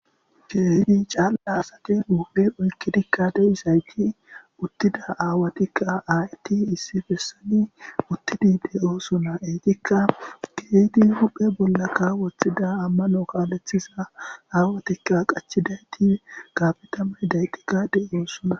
keydi caalla asati uupe oykkidikka de7isayti uttida aawatikka aayti issi bessani uttidi de7o suna eytikka kehdi huphe bollakka woththida ammano kaalethiza aawatikka qachidayti kafitame dayti ga de oosuna.